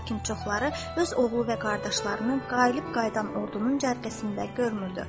Lakin çoxları öz oğlu və qardaşlarını qalib qayıdan ordunun cərgəsində görmürdü.